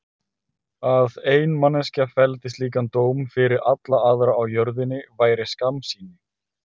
Að ein manneskja felldi slíkan dóm fyrir alla aðra á jörðinni væri skammsýni.